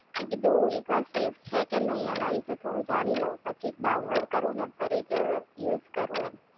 મે કીધું એકવાર સેફ છે કે નહિ એના વિશે થોડું જાણી લવ પછી જ ડાઉનલોડ કરું ને, ફરી જ યુઝ કરું એમ